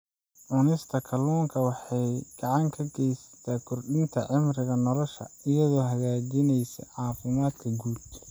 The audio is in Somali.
Cunista kalluunka waxay gacan ka geysataa kordhinta cimriga nolosha iyadoo hagaajinaysa caafimaadka guud.